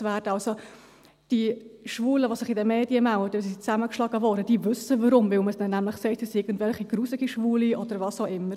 Die Schwulen, die sich in den Medien melden, weil sie zusammengeschlagen wurden, die wissen warum – weil man ihnen nämlich sagt, sie seien widerliche Schwule, oder was auch immer.